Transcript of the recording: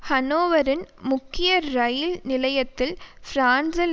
ஹனோவரின் முக்கிய இரயில் நிலையத்தில் பிரான்சில்